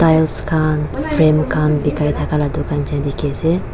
tiles khan frame khan bikai thaka laka dukan sina dikhiase.